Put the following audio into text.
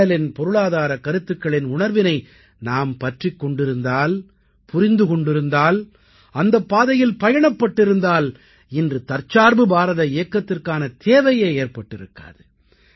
அண்ணலின் பொருளாதாரக் கருத்துக்களின் உணர்வினை நாம் பற்றிக் கொண்டிருந்தால் புரிந்து கொண்டிருந்தால் அந்தப் பாதையில் பயணப்பட்டிருந்தால் இன்று தற்சார்பு பாரத இயக்கத்திற்கான தேவையே ஏற்பட்டிருக்காது